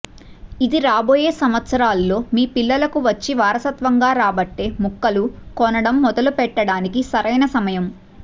ఇది రాబోయే సంవత్సరాల్లో మీ పిల్లలకు వచ్చి వారసత్వంగా రాబట్టే ముక్కలు కొనడం మొదలు పెట్టడానికి సరైన సమయం